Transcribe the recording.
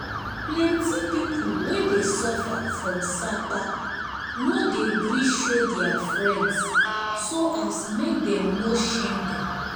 um plenty people wey dey suffer from sapa um no dey gree show their friends so as make dem no shame dem